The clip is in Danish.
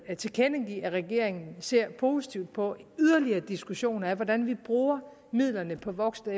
tilkendegive at regeringen ser positivt på yderligere diskussioner af hvordan vi bruger midlerne på voksen og